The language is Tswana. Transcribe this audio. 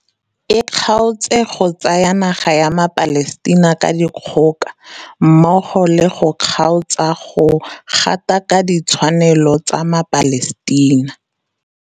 e kgaotse go tsaya naga ya maPalestina ka dikgoka mmogo le go kgaotsa go gatakaka ditshwanelo tsa maPalestina.